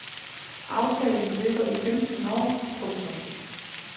Aftalen løber i femten år. punktum